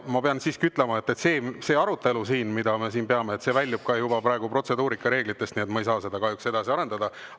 Ma pean siiski ütlema seda, et see arutelu, mida me siin peame, väljub praegu protseduurika raamest, nii et ma ei saa seda kahjuks edasi arendada.